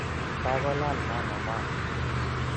Kagolaal mama maat